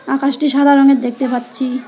আকাশটি সাদা রঙের দেখতে পাচ্ছি।